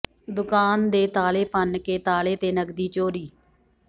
ਦੁਕਾਨ ਦੇ ਤਾਲੇ ਭੰਨ ਕੇ ਤਾਲੇ ਤੇ ਨਕਦੀ ਚੋਰੀ